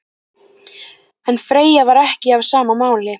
En Freyja var ekki á sama máli.